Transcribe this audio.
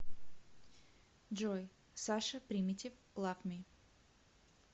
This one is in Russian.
джой саша примитив лав ми